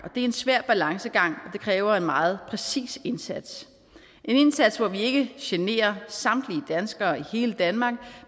det er en svær balancegang og det kræver en meget præcis indsats en indsats hvor vi ikke generer samtlige danskere i hele danmark